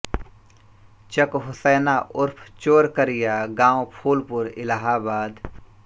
चक हुसैना उर्फ चोर करिया गाँव फूलपुर इलाहाबाद